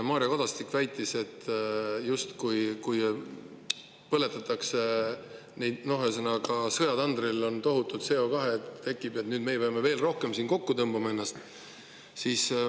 Mario Kadastik väitis, et kui sõjatandril tohutu CO2 tekib, siis justkui meie nüüd peame veel rohkem siin kokku tõmbama ennast.